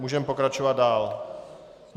Můžeme pokračovat dál.